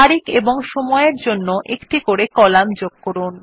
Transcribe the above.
তারিখ এবং সময় এর জন্য একটি করে কলাম যোগ করুন